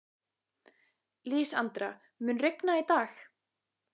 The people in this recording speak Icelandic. Lísandra, mun rigna í dag?